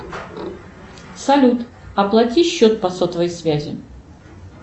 салют оплати счет по сотовой связи